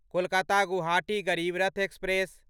Kolkata Guwahati Garib Rath express